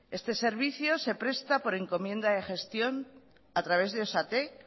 este servicio se presta por encomienda de gestión a través de osatek